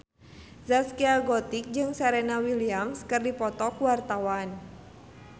Zaskia Gotik jeung Serena Williams keur dipoto ku wartawan